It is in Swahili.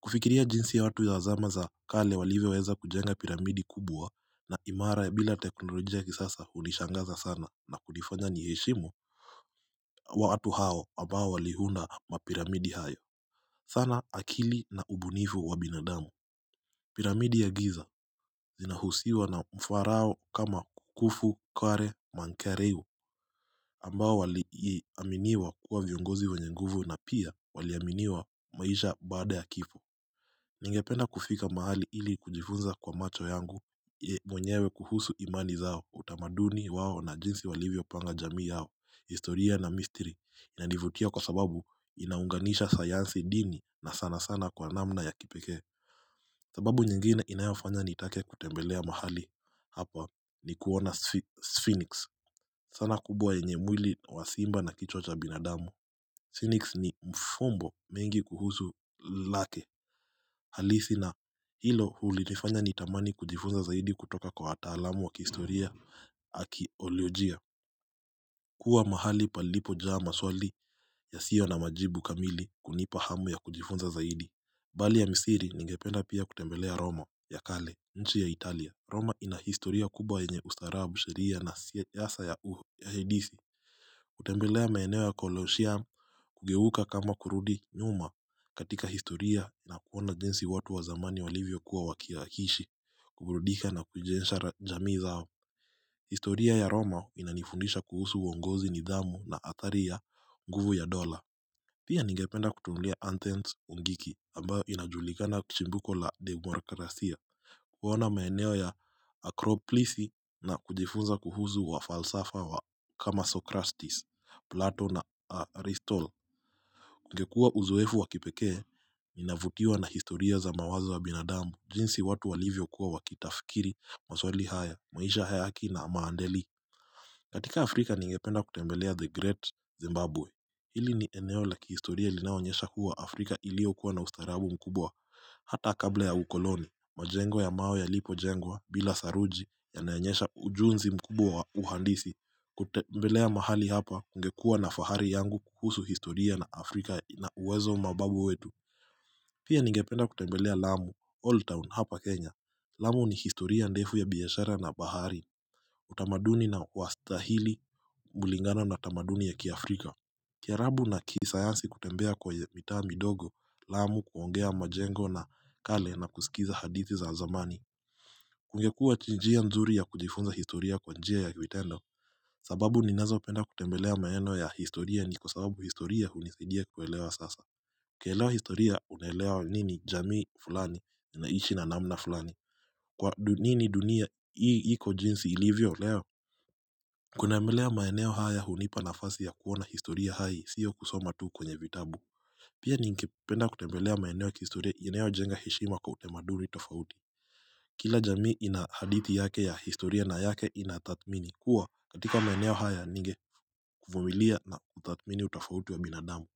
kufikiria jinsi ya watu yawazama za kale walivyoweza kujenga piramidi kubwa na imara ya bila teknolojia kisasa hunishangaza sana na kunifanya niheshimu watu hao ambao walihunda mapiramidi haya sana akili na ubunifu wa binadamu. Piramidi ya giza zinahushwa na mfarao kama khufu khafre menkaure ambao waliaminiwa kuwa viongozi wenye nguvu na pia wali aminiwa maisha baada ya kifo. Ningependa kufika mahali ili kujifunza kwa macho yangu ye mwenyewe kuhusu imani zao utamaduni wao na jinsi walivyopanga jamii yao. Historia na mystery inanivutia kwa sababu inaunganisha sayansi dini na sana sana kwa namna ya kipekee sababu nyingine inayofanya nitake kutembelea mahali hapa ni kuona Sphinx sana kubwa yenye mwili wa simba na kichwa cha binadamu Sphinx ni mfumbo mengi kuhusu lake halisi na hilo hunifanya nitamani kujifunza zaidi kutoka kwa wataalamu wa kihistoria akiteknoliojia kuwa mahali palipojaa maswali yasiyo na majibu kamili hunipa hamu ya kujifunza zaidi Bali ya misiri ningependa pia kutembelea Roma ya kale nchi ya Italia Roma ina historia kubwa yenye ustarabu sheria na siasa ya uho ya hedisi kutembelea maeneo ya koloshiam kugeuka kama kurudi nyuma katika historia na kuona jinsi watu wa zamani walivyokuwa wakiishi kuburudika na kujensha jamii zao historia ya Roma inanifundisha kuhusu uongozi nidhamu na athari ya nguvu ya dola Pia ningependa kutunulia athens ugiriki ambayo inajulikana chimbuko la demokrasia kuona maeneo ya akroplisi na kujifunza kuhusu wafalsafa wa kama socrastis, plato na aristotle ingekuwa uzoefu wa kipekee, navutiwa na historia za mawazo wa binadamu jinsi watu walivyokuwa wakitafikiri, maswali haya, maisha ya haki na maadili katika Afrika ningependa kutembelea The Great Zimbabwe Hili ni eneo la kihistoria linaonyesha kuwa Afrika iliyokuwa na ustaarabu mkubwa Hata kabla ya ukoloni, majengo ya mawe yalipojengwa, bila saruji, yanaonyesha ujuzi mkubwa wa uhandisi kutembelea mahali hapa, ningekuwa na fahari yangu kuhusu historia na Afrika na uwezo wa mababu wetu Pia nigependa kutembelea Lamu, Old Town hapa Kenya. Lamu ni historia ndefu ya biashara na bahari, utamaduni na wastahili, kulingana na tamaduni ya kiafrika. Kiarabu na kisayansi kutembea kwa mitaa midogo, Lamu kuongea majengo na kale na kusikiza hadithi za zamani. Kungekuwa ni njia nzuri ya kujifunza historia kwa njia ya vitendo, sababu ninazopenda kutembelea maeneo ya historia ni kwa sababu historia hunisaidia kuelewa sasa. Nikielewa historia unaelewa mimi ni mjamii fulani ninaishi na namna fulani Kwa nini dunia hii iko jinsi ilivyo leo kuna vile maeneo haya hunipa nafasi ya kuwa na historia hai siyo kusoma tu kwenye vitabu Pia ningependa kutembelea maeneo ya kihistoria inayojenga heshima kwa utamaduni tofauti Kila jamii ina hadithi yake ya historia na yake inathamini kuwa katika maeneo haya ningevumilia na kuthamini utofauti wa binadamu.